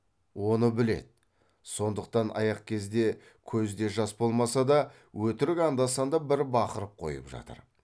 оны біледі сондықтан аяқ кезде көзде жас болмаса да өтірік анда санда бір бақырып қойып жатыр